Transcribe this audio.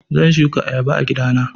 Zan shuka ayaba a gida na.